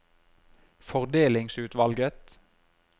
fordelingsutvalget